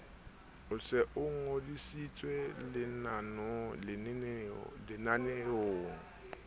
o se o ngodisitswe lenaneong